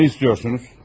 Nə istəyirsiniz?